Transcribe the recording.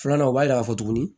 Filanan o b'a yira k'a fɔ tuguni